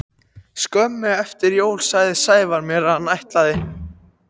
Skömmu eftir jól sagði Sævar mér að hann ætlaði til